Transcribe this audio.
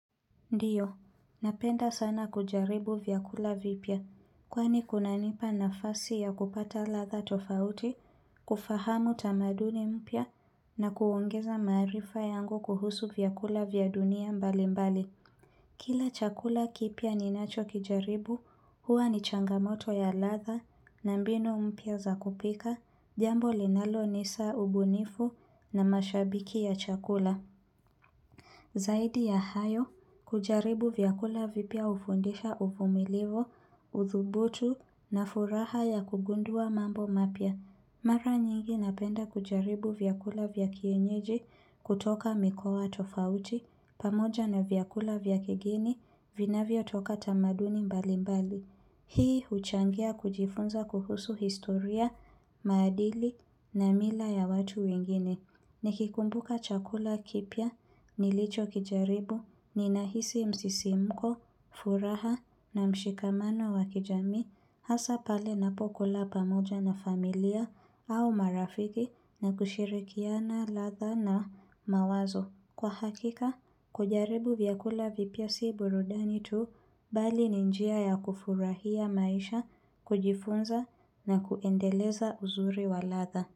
Ndiyo, napenda sana kujaribu vyakula vipya, kwani kuna nipa na fasi ya kupata lafha tofauti, kufahamu tamaduni mpya, na kuongeza maarifa yangu kuhusu vyakula vya dunia mbali mbali. Kila chakula kipya ninacho kijaribu, huwa ni changamoto ya ladha na mbinu mpya za kupika, jambo linalonisa ubunifu na mashabiki ya chakula. Zaidi ya hayo, kujaribu vyakula vipya hufundisha uvumilivu, uthubutu na furaha ya kugundua mambo mapya. Mara nyingi napenda kujaribu vyakula vya kienyeji kutoka mikoa tofauti, pamoja na vyakula vya kigeni vinavyo toka tamaduni mbali mbali. Hii huchangia kujifunza kuhusu historia, maadili na mila ya watu wengine. Nikikumbuka chakula kipya, nilicho kijaribu, nina hisi msisimko, furaha na mshikamano wa kijamii, hasa pale ninapokula pamoja na familia au marafiki na kushirikiana, ladha na mawazo. Kwa hakika, kujaribu vyakula vipya si burudani tu bali ni njia ya kufurahia maisha, kujifunza na kuendeleza uzuri waladha.